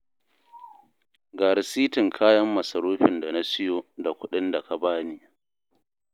Ga rasitin kayan masarufin da na siyo da kuɗin da ka ba ni